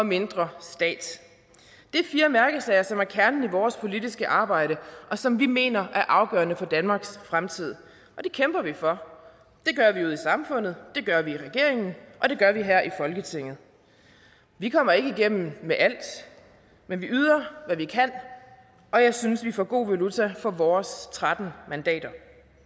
mindre stat det er fire mærkesager som er kernen i vores politiske arbejde og som vi mener er afgørende for danmarks fremtid det kæmper vi for det gør vi ude i samfundet det gør vi i regeringen og det gør vi her i folketinget vi kommer ikke igennem med alt men vi yder hvad vi kan og jeg synes at vi får god valuta for vores tretten mandater